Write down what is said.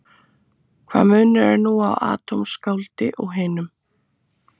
Hvaða munur er nú á atómskáldi og hinum?